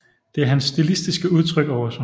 Det er hans stilistiske udtryk også